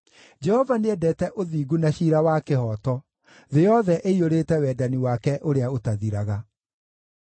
Jehova nĩendete ũthingu na ciira wa kĩhooto; thĩ yothe ĩiyũrĩte wendani wake ũrĩa ũtathiraga.